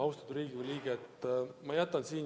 Austatud Riigikogu liige!